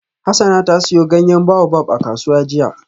Hassana ta siyo ganyen baobab a kasuwa jiya.